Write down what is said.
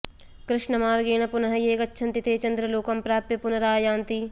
कृष्णमार्गेण पुनः ये गच्छन्ति ते चन्द्रलोकं प्राप्य पुनरायान्ति